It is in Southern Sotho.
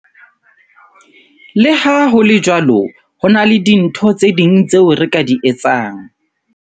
Le ha ho le jwalo, ho na le dintho tse ding tseo re ka di etsang.